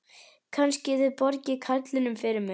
Kannski þið borgið karlinum fyrir mig.